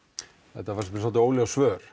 þetta fannst mér dálítið óljós svör